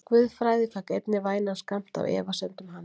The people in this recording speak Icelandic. Guðfræði fékk einnig vænan skammt af efasemdum hans.